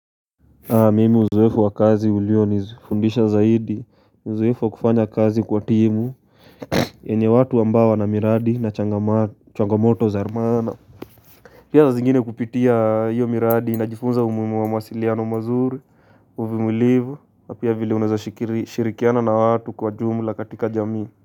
Mimi uzoefu wa kazi ulio nizifundisha zaidi, uzoefu wa kufanya kazi kwa timu, enye watu ambawo na miradi na changamoto za maana. Pia za zingine kupitia hiyo miradi najifunza umuhimu wa mawasiliano mazuri, uvumilivu, na pia vile unaweza shirikiana na watu kwa jumla katika jamii.